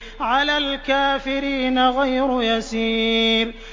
عَلَى الْكَافِرِينَ غَيْرُ يَسِيرٍ